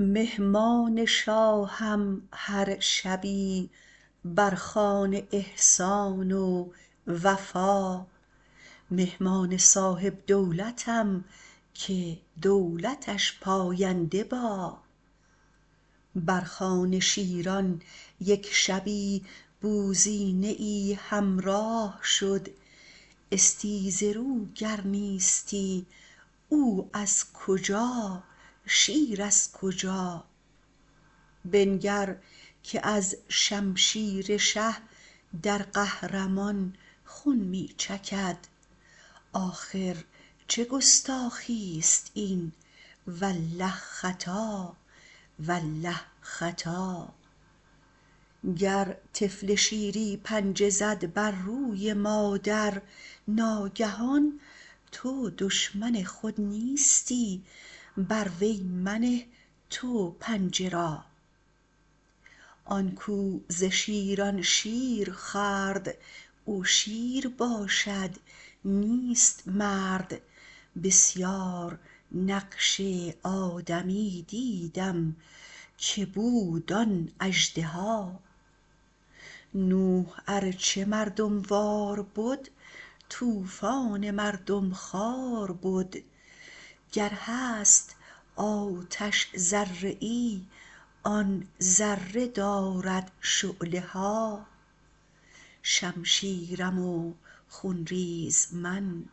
مهمان شاهم هر شبی بر خوان احسان و وفا مهمان صاحب دولتم که دولتش پاینده با بر خوان شیران یک شبی بوزینه ای همراه شد استیزه رو گر نیستی او از کجا شیر از کجا بنگر که از شمشیر شه در قهر مان خون می چکد آخر چه گستاخی است این والله خطا والله خطا گر طفل شیری پنجه زد بر روی مادر ناگهان تو دشمن خود نیستی بر وی منه تو پنجه را آن کاو ز شیران شیر خورد او شیر باشد نیست مرد بسیار نقش آدمی دیدم که بود آن اژدها نوح ار چه مردم وار بد طوفان مردم خوار بد گر هست آتش ذره ای آن ذره دارد شعله ها شمشیرم و خون ریز من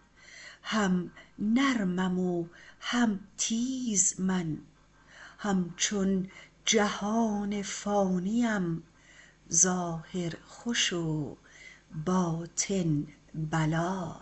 هم نرمم و هم تیز من همچون جهان فانی ام ظاهر خوش و باطن بلا